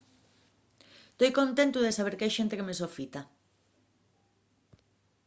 toi contentu de saber qu’hai xente que me sofita